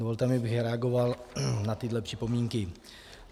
Dovolte mi, abych reagoval na tyhle připomínky.